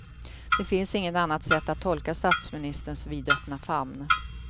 Det finns inget annat sätt att tolka statsministerns vidöppna famn.